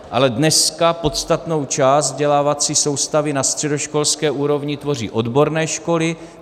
Ale dneska podstatnou část vzdělávací soustavy na středoškolské úrovni tvoří odborné školy.